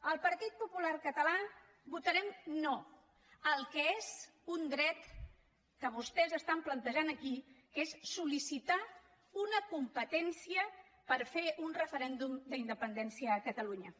el partit popular català votarem no al que és un dret que vostès plantegen aquí que és sol·licitar una competència per fer un referèndum d’independència a catalunya